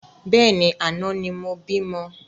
Bẹ́ẹ̀ni, àná ni mo bímọ